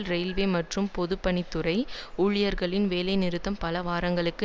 railway மற்றும் பொதுப்பணித் துறை ஊழியர்களின் வேலைநிறுத்தம் பல வாரங்களுக்கு